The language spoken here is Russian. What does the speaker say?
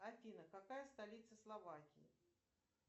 афина какая столица словакии